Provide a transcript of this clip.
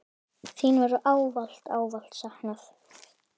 Þín verður ávallt, ávallt saknað.